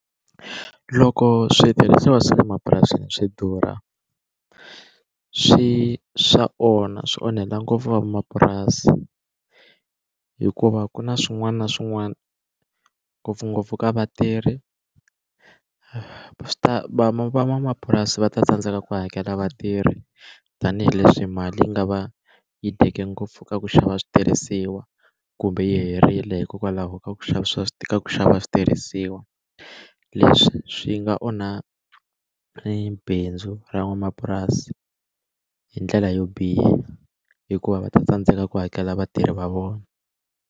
Loko switirhisiwa swa le mapurasini swi durha swi swa onha swi onhela ngopfu van'wamapurasi hikuva ku na swin'wana na swin'wana ngopfungopfu ka vatirhi swi ta van'wamapurasi va ta tsandzeka ku hakela vatirhi tanihileswi mali yi nga va yi dyeke ngopfu ka ku xava switirhisiwa kumbe yi herile hikokwalaho ka ku xava swa ku xava switirhisiwa leswi swi nga onha bindzu ra van'wamapurasi hi ndlela yo biha hikuva va ta tsandzeka ku hakela vatirhi va vona.